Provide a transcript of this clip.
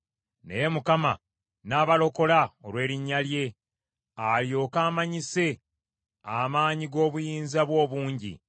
Naye Mukama n’abalokola, olw’erinnya lye, alyoke amanyise amaanyi g’obuyinza bwe obungi.